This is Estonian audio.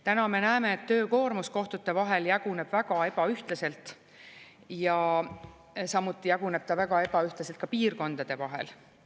Täna me näeme, et töökoormus kohtute vahel jaguneb väga ebaühtlaselt ja samuti jaguneb ta väga ebaühtlaselt piirkondade vahel.